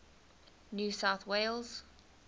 new south wales